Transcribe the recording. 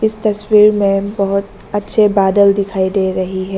इस तस्वीर में बहोत अच्छी बादल दिखाई दे रही है।